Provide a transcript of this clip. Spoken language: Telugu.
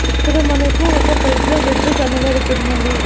ఇక్కడ మనకు ఒక పెద్ద బెడ్డు కనబడుతున్నది.